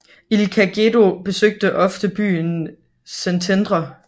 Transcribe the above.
Ilka Gedő besøgte ofte byen Szentendre